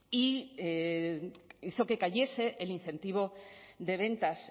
e hizo que cayese el incentivo de ventas